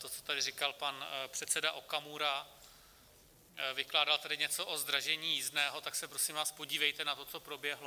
To, co tady říkal pan předseda Okamura, vykládal tady něco o zdražení jízdného, tak se prosím vás podívejte na to, co proběhlo.